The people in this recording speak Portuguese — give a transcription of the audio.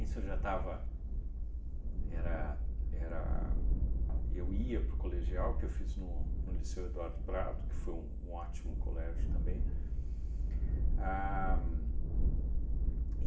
Isso eu já estava... Era... Era... Eu ia para o colegial que eu fiz no no Liceu Eduardo Prado, que foi um ótimo colégio também. A